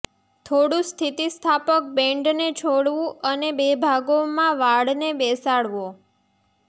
થોડું સ્થિતિસ્થાપક બેન્ડને છોડવું અને બે ભાગોમાં વાળને બેસાડવો